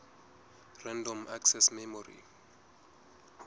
random access memory